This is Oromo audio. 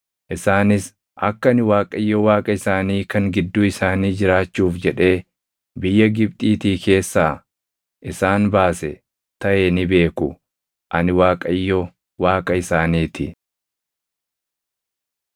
Isaanis akka ani Waaqayyo Waaqa isaanii kan gidduu isaanii jiraachuuf jedhee biyya Gibxiitii keessaa isaan baase taʼe ni beeku; ani Waaqayyo Waaqa isaanii ti.